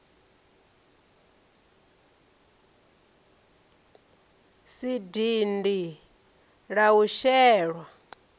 si dindi la u shelwa